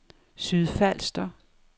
Sydfalster